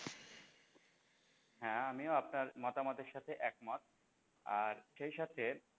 হ্যাঁ আমিও আপনার মতামতের সাথে একমত আর সে সাথে,